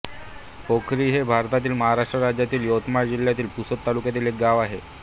पोखरी हे भारतातील महाराष्ट्र राज्यातील यवतमाळ जिल्ह्यातील पुसद तालुक्यातील एक गाव आहे